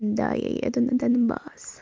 да я еду на донбасс